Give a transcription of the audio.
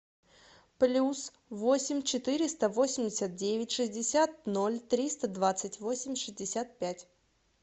плюс восемь четыреста восемьдесят девять шестьдесят ноль триста двадцать восемь шестьдесят пять